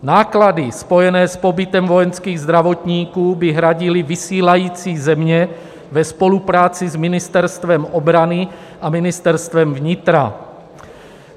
Náklady spojené s pobytem vojenských zdravotníků by hradily vysílající země ve spolupráci s Ministerstvem obrany a Ministerstvem vnitra.